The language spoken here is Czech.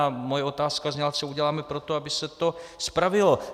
A moje otázka zněla, co uděláme pro to, aby se to spravilo.